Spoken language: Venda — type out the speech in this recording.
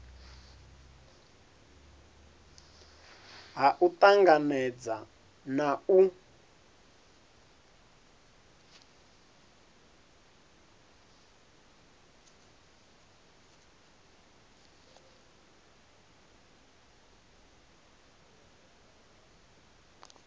ha u tanganedza na u